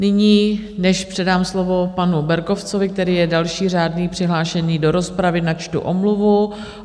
Nyní než předám slovo panu Berkovcovi, který je další řádně přihlášený do rozpravy, načtu omluvu.